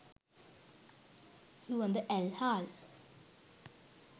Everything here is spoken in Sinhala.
සුවඳ ඇල් හාල්